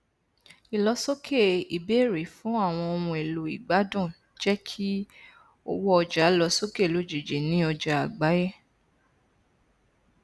ìlọsókè ìbéèrèfún àwọn ohunèlò ìgbádùn jẹ kí owó ọjà lọ sókè lójijì ní ọjà àgbáyé